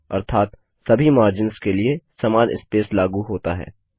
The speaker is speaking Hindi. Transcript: अर्थात सभी मार्जिन्स के लिए समान स्पेस लागू होता है